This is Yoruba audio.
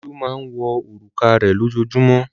Olú máa ń wọ òrùka rẹ̀ lójoojúmọ́.